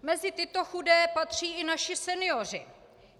Mezi tyto chudé patří i naši senioři.